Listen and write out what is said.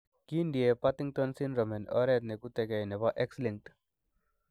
Kindie Partington syndrome en oret neketukei nebo X linked.